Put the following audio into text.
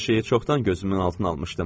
Hər şeyi çoxdan gözümün altına almışdım.